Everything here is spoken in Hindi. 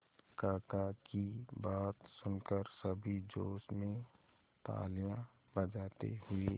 काका की बात सुनकर सभी जोश में तालियां बजाते हुए